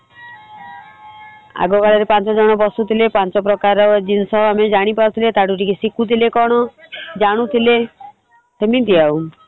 ଆଗ କାଳରେ ପାଞ୍ଚ ଜଣ ବସୁଥିଲେ ପାଞ୍ଚ ପ୍ରକାର ଜିନିଷ ଆମେ ଜାଣିପାରୁଥିଲେ ତାଠୁ ଟିକେ ଶିଖୁଥିଲେ କଣ ଜାଣୁଥିଲେ ସେମିତି ଆଉ ।